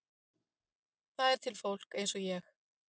Það er til fólk eins og ég.